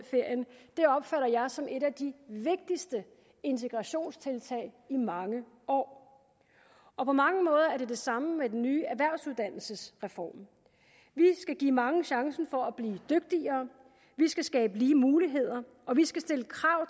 opfatter jeg som et af de vigtigste integrationstiltag i mange år og på mange måder er det det samme med den nye erhvervsuddannelsesreform vi skal give mange chancen for at blive dygtigere vi skal skabe lige muligheder og vi skal stille krav